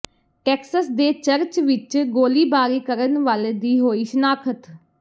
Texas ਦੇ church ਵਿੱਚ ਗੋਲੀਬਾਰੀ ਕਰਨ ਵਾਲੇ ਦੀ ਹੋਈ ਸ਼ਨਾਖ਼ਤ